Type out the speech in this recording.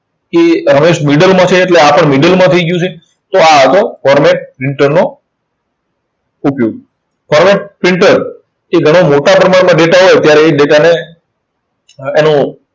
કે રમેશ middle માં છે એટલે આ પણ middle માં થઇ ગયું છે. તો આ હતો format printer નો ઉપયોગ. તો હવે printer થી ઘણા મોટા પ્રમાણમાં data હોય ત્યારે એ data ને એનું